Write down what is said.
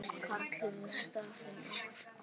Karl hefur stafinn átt.